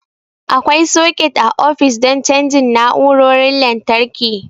Akwai soket a ofis don cajin na'urorin lantarki.